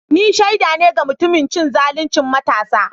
Ni shaida ne ga mutumin cin zaluncin matansa.